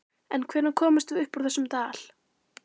En hvenær komumst við upp úr þessum dal?